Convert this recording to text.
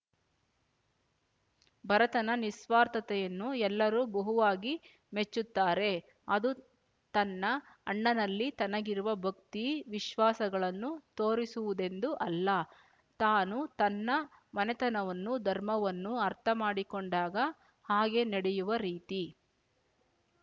ಭರತನ ನಿಃಸ್ವಾರ್ಥತೆಯನ್ನು ಎಲ್ಲರೂ ಬಹುವಾಗಿ ಮೆಚ್ಚುತ್ತಾರೆ ಅದು ತನ್ನ ಅಣ್ಣನಲ್ಲಿ ತನಗಿರುವ ಭಕ್ತಿ ವಿಶ್ವಾಸಗಳನ್ನು ತೋರಿಸುವುದೆಂದು ಅಲ್ಲ ತಾನೂ ತನ್ನ ಮನೆತನವನ್ನು ಧರ್ಮವನ್ನು ಅರ್ಥಮಾಡಿಕೊಂಡಾಗ ಹಾಗೆ ನಡೆಯುವ ರೀತಿ